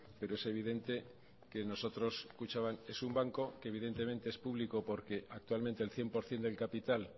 pero es evidente que nosotros kutxabank es un banco que evidentemente es público porque actualmente el cien por ciento del capital